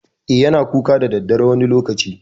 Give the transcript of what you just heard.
E, yana kuka da daddare wani lokaci.